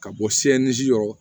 Ka bɔ yɔrɔ